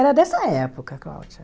Era dessa época, Cláudia.